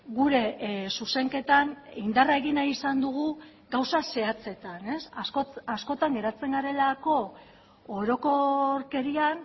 gure zuzenketan indarra egin nahi izan dugu gauza zehatzetan askotan geratzen garelako orokorkerian